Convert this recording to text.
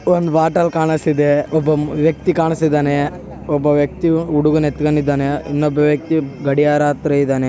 ಒಂದು ಬೊಟಲ್ ಕಾಣಸ್ತ ಇದೆ. ಒಬ್ಬ ವ್ಯಕ್ತಿ ಕಾಣಸ್ತಇದಾನೆ. ಒಬ್ಬ ವ್ಯಕ್ತಿಯು ಹುಡಗನ್ನ ಎತ್ಕೊಂಡಿದಾನೆ ಇನ್ನೊಬ್ಬ ವ್ಯಕ್ತಿ ಗಡಿಯಾರ ಹತ್ರ ಇದಾನೆ.